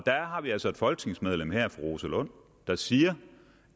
har vi altså et folketingsmedlem her fru rosa lund der siger